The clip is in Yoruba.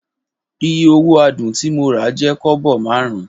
Iye owo Adun ti mo ra je kobo marun.